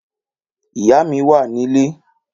Ìyá mi wà nilé